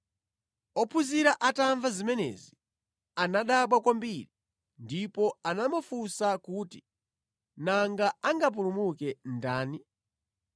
Ophunzira atamva zimenezi, anadabwa kwambiri ndipo anamufunsa kuti, “Nanga angapulumuke ndani?”